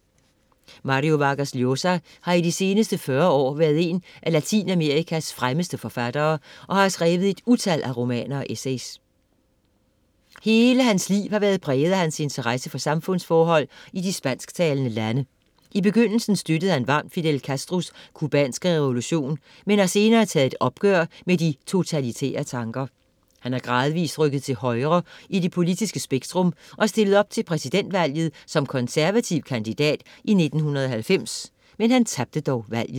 Mario Vargas Llosa har i de seneste 40 år været en af Latinamerikas fremmeste forfattere og har skrevet et utal af romaner og essays. Hele hans liv har været præget af hans interesse for samfundsforhold i de spansktalende lande. I begyndelsen støttede han varmt Fidel Castros cubanske revolution, men har senere taget et opgør med de totalitære tanker. Han er gradvist rykket til højre i det politiske spektrum og stillede op til præsidentvalget som konservativ kandidat i 1990. Han tabte dog valget.